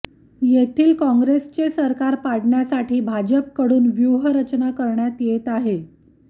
येथील काँग्रेसचे सरकार पाडण्यासाठी भाजपकडून व्युहरचना करण्यात येत आहे